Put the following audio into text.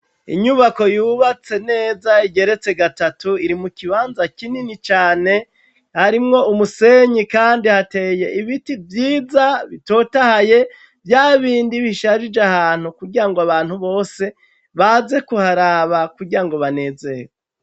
Inyubako yubatse neza igeretse gatatu iri mu kibanza kinini cane harimwo umusenyi kandi hateye ibiti vyiza bitotahaye, vya bindi bisharije ahantu kugira ngo abantu bose baze kuharaba kugira ngo banezerwe.